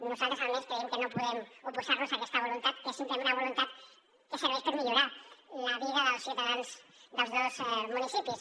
nosaltres almenys creiem que no podem oposar nos a aquesta voluntat que és simplement una voluntat que serveix per millorar la vida dels ciutadans dels dos municipis